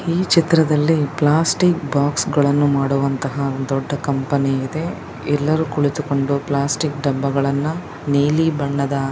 ಈ ಚಿತ್ರದಲ್ಲಿ plastic box ಗಳನ್ನು ಮಾಡುವಂತಹ ದೊಡ್ಡ ಕಂಪನಿ ಇದೆ ಎಲ್ಲರೂ ಕುಳಿತುಕೊಂಡು ಪ್ಲಾಸ್ಟಿಕ್ ಡಬ್ಬಗಳನ್ನು ನೀಲಿ ಬಣ್ಣದ--